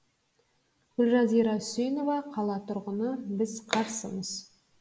гүлжазира үсенова қала тұрғыны біз қарсымыз